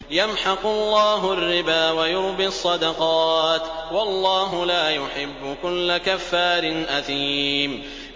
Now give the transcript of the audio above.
يَمْحَقُ اللَّهُ الرِّبَا وَيُرْبِي الصَّدَقَاتِ ۗ وَاللَّهُ لَا يُحِبُّ كُلَّ كَفَّارٍ أَثِيمٍ